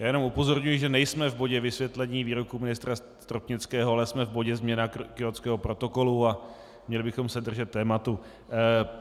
Já jenom upozorňuji, že nejsme v bodě vysvětlení výroku ministra Stropnického, ale jsme v bodě změna Kjótského protokolu a měli bychom se držet tématu.